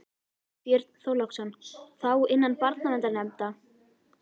Björn Þorláksson: Þá innan barnaverndarnefnda?